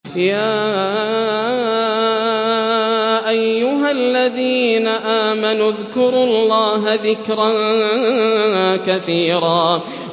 يَا أَيُّهَا الَّذِينَ آمَنُوا اذْكُرُوا اللَّهَ ذِكْرًا كَثِيرًا